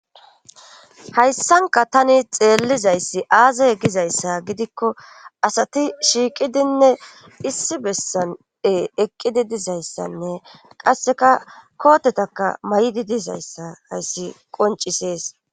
Hayssanka tani xeellizayssi aazay gizayssa gidikko asati shiiqidinne issi bessane eqqidi dizayssanne qasseka kootetaka may'idi dizayssa hayssi qoncisees.